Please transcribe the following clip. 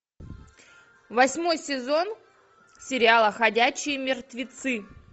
восьмой сезон сериала ходячие мертвецы